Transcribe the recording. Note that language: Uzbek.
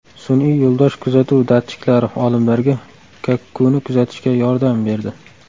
Sun’iy yo‘ldosh kuzatuv datchiklari olimlarga kakkuni kuzatishga yordam berdi.